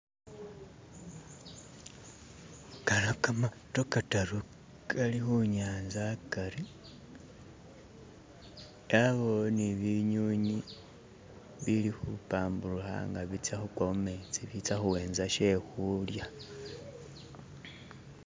khano kamato kataru kali khunyatsa hakari yabawo ni binyunyi bili khubambulikha nga bitsa khukwa mumetsi bitsa khuwetsa shekhulya